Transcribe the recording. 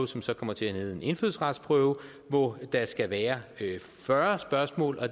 som så kommer til at hedde en indfødsretsprøve hvor der skal være fyrre spørgsmål